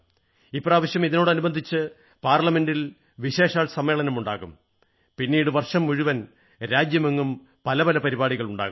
ഇപ്രാവശ്യം ഇതോടനുബന്ധിച്ച് പാർലമെന്റിൽ വിശേഷാൽ സമ്മേളനമുണ്ടാകും പിന്നീട് വർഷം മുഴുവൻ രാജ്യമെങ്ങും നിരവധി പരിപാടികളുണ്ടാകും